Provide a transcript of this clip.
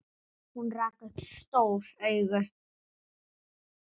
Hún rak upp stór augu.